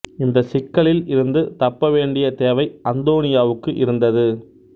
இந்தச் சிக்கலில் இருந்து தப்ப வேண்டிய தேவை அந்தோனியோவுக்கு இருந்தது